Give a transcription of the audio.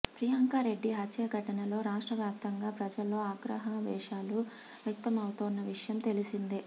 ప్రియాంక రెడ్డి హత్య ఘటనలో రాష్ట్ర వ్యాప్తంగా ప్రజల్లో ఆగ్రహావేశాలు వ్యక్తమవుతోన్న విషయం తెలిసిందే